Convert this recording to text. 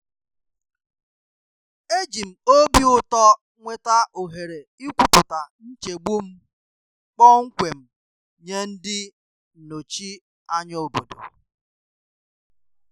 E ji m obi ụtọ nweta ohere ikwupụta nchegbu m kpọmkwem nye ndị nnọchi anya obodo.